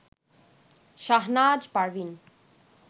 Shahnaz Parveen